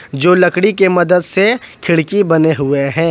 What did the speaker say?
जो लकड़ी के मदद से खिड़की बने हुए हैं।